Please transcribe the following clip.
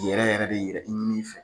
Yɛrɛ yɛrɛ be yɛrɛ i ni fɛ